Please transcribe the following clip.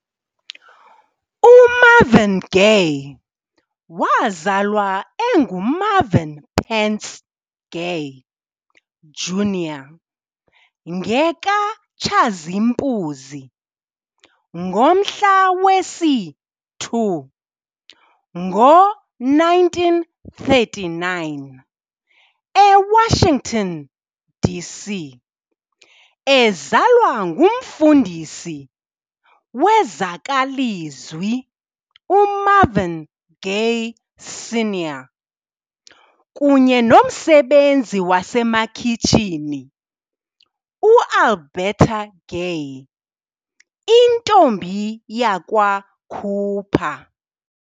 UMarvin Gaye wazalwa enguMarvin Pentz Gay, Jr ngekaTshazimpuzi, ngomhla wesi-2, ngo1939 eWashington, D.C., ezalwa ngumfundisi wezakwalizwi uMarvin Gay, Sr., kunye nomsebenzi wasemakhitshini uAlberta Gay, intombi yakwa Cooper.